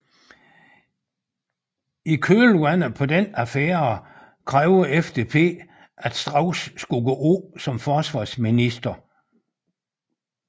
I kølvandet på denne affære krævede FDP at Strauß skulle gå af som forsvarsminister